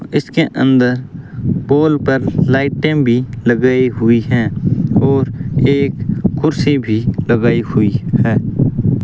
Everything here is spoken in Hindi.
इसके अंदर पोल पर लाइटें भी लगाई हुई हैं और एक कुर्सी भी लगाई हुई है।